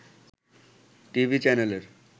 TV চ্যানেলের